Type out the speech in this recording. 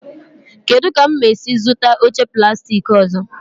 Kedụ ka m ga-esi zụta oche plastik ọzọ?